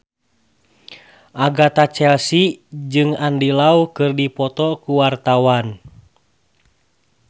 Agatha Chelsea jeung Andy Lau keur dipoto ku wartawan